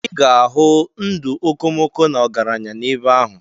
Ị ga-ahụ ndụ okomoko na ọgaranya n'ebe ahụ.